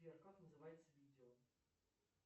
сбер как называется видео